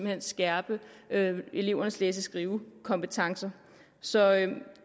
hen skærpe elevernes læse og skrivekompetencer så